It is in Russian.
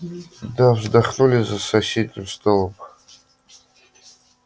да вздохнули за соседним столом